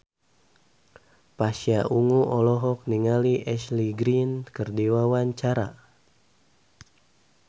Pasha Ungu olohok ningali Ashley Greene keur diwawancara